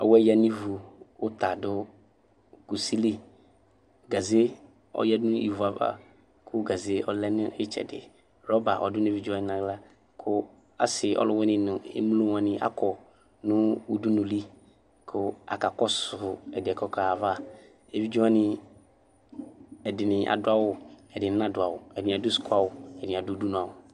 Awɛ yǝ nʋ ivu, ɔta dʋ kusi li, gaze, ɔyǝdu nʋ ivu ava kʋ gaze yɛ ɔlɛ nʋ ɩtsɛdɩ Rɔba ɔdʋ nʋ evidze wanɩ nʋ aɣla kʋ asɩ ɔlʋwɩnɩ nʋ emlo wanɩ akɔ nʋ uduli kʋ akakɔsʋ ɛdɩ yɛ kʋ ɔkaɣa ayava Evidze wanɩ, ɛdɩnɩ adʋ awʋ, ɛdɩnɩ nadʋ awʋ, ɛdɩnɩ adʋ sukuawʋ, ɛdɩnɩ adʋ udunuawʋ